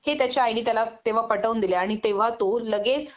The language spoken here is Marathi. हे त्याच्या आईने त्याला तेंव्हा पटवून दिले आणि तेंव्हा तो लगेच